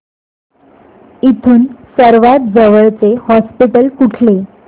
इथून सर्वांत जवळचे हॉस्पिटल कुठले